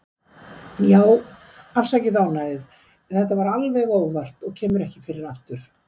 Já, afsakið ónæðið, þetta var alveg óvart og kemur ekki fyrir aftur.